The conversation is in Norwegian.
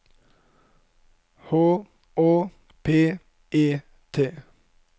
H Å P E T